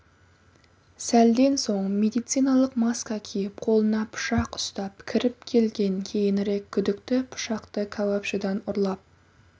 сәлден соң медициналық маска киіп қолына пышақ ұстап кіріп келген кейінірек күдікті пышақты кәуапшыдан ұрлап